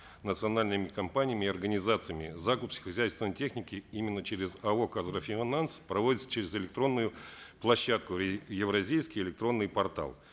национальными компаниями и организациями закуп сельскохозяйственной техники именно через ао казагрофинанс проводится через электронную площадку евразийский электронный портал